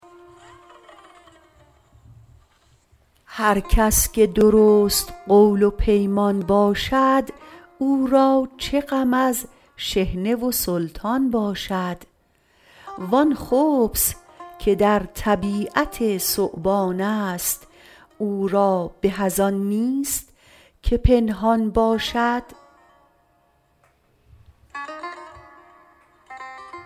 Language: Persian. هر کس که درست قول و پیمان باشد او را چه غم از شحنه و سلطان باشد وان خبث که در طبیعت ثعبانست او را به از ان نیست که پنهان باشد